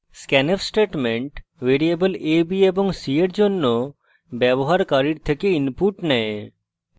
scanf statement variable a b এবং c এর জন্য ব্যবহারকারীর থেকে input নেয়